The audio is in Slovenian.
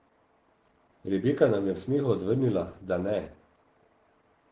Rebeka nam je v smehu odvrnila, da ne.